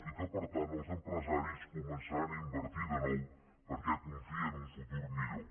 i que per tant els empresaris començaran a invertir de nou perquè confien en un futur millor